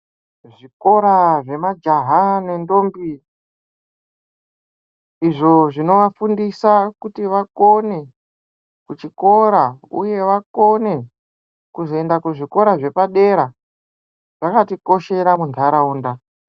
Zvikora zvemajaha nendombi izvo zvinovafundisa kuti vakone kuchikora uye vakone kuzoenda kuzvikora zvepadera zvakatikoshera munharaunda.